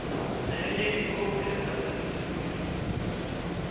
nenye ikhophi egadangisiweko